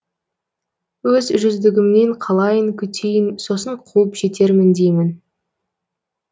өз жүздігімнен қалайын күтейін сосын қуып жетермін деймін